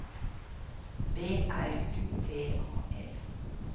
B R U T A L